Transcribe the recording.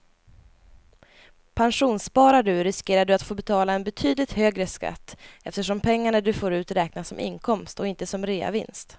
Pensionssparar du riskerar du att få betala en betydligt högre skatt eftersom pengarna du får ut räknas som inkomst och inte som reavinst.